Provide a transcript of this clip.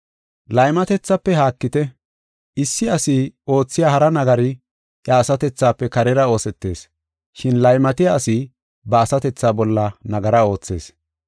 Laymatethafe haakite. Issi asi oothiya hara nagari iya asatethafe karera oosetees, shin laymatiya asi ba asatethaa bolla nagara oothees.